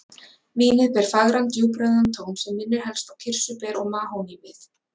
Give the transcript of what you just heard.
Vínið ber fagran djúprauðan tón sem minnir helst á kirsuber og mahónívið.